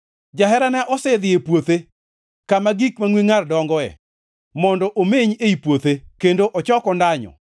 Jaherana osedhi e puothe, kama gik mangʼwe ngʼar dongoe, mondo omeny ei puothe kendo ochok ondanyo.